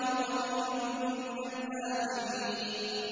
وَقَلِيلٌ مِّنَ الْآخِرِينَ